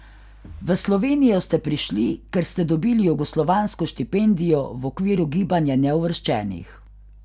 V Slovenijo ste prišli, ker ste dobili jugoslovansko štipendijo v okviru gibanja neuvrščenih.